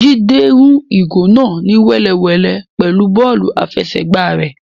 Jide rún ìgò náà ni wẹ́lewẹ̀le pẹlú bọ́ọ̀lù afẹsẹgba rẹ.